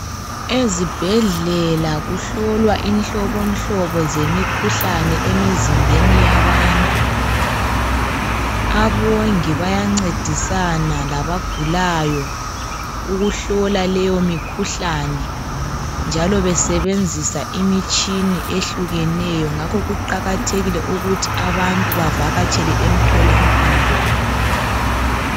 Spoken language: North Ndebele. Ezibhedlela kuhlolwa inhlobonhlobo zemikhuhlane emizimbeni yabantu. Abongi bayancedisana labagulayo ukuhlola leyo mikhuhlane njalo besebenzisa imitshini ehlukeneyo, ngakho kuqakathekile ukuthi abantu bavakatshele emtholampilo.